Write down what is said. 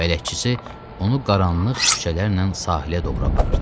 Bələdçisi onu qaranlıq küçələrlə sahilə doğru aparırdı.